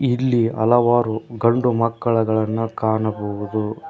ಇಲ್ಲಿ ಹಲವಾರು ಗಂಡು ಮಕ್ಕಳುಗಳನ್ನ ಕಾಣಬಹುದು.